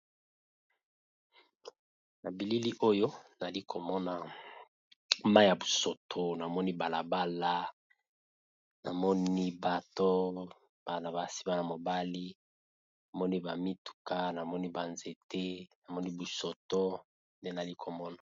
Nabilili oyo nalikomona Mayi yabusoto namoni balabala namani pe mibali pe basi bamituka pe banzete nabamituka ndenamoni